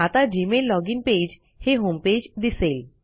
आता Gmail login page हे homepage दिसेल